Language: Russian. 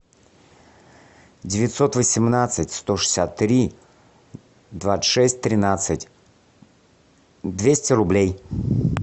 девятьсот восемнадцать сто шестьдесят три двадцать шесть тринадцать двести рублей